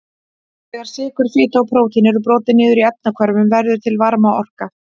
Þegar sykur, fita og prótín eru brotin niður í efnahvörfum verður til varmaorka.